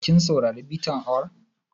Kin saurari bitar awon?